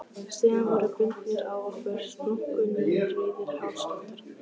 Síðan voru bundnir á okkur splunkunýir rauðir hálsklútar.